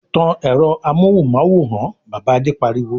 "Tan ẹ̀rọ amóhùmáwòhán! Bàbá Adé pariwo.